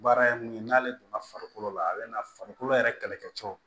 Baara ye mun ye n'ale donna farikolo la a bɛ na farikolo yɛrɛ kɛlɛkɛ cɛw